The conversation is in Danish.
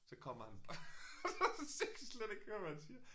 Så kommer han og så jeg kan slet ikke høre hvad han siger